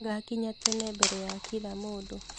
Ngakinnya tene mbere ya kila mũndũ